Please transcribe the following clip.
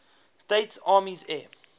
states army air